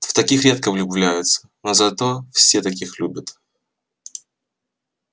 в таких редко влюбляются но зато все таких любят